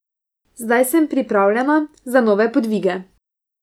Zdaj sem pripravljena za nove podvige.